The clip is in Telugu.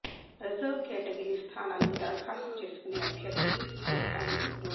రిజర్వ్ కేటగిరి స్థానాలకు దరఖాస్తు చేసుకునే అభ్యర్థులు ఈ మొత్తాన్ని రూ